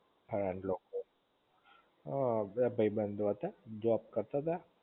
હ બે ભઈ બંધો હતા જોબ કરતા તા